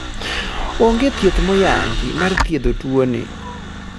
onge thieth moyanngi mar thiedho tuo ni